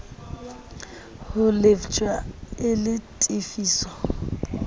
ho lefshwa e le tefiso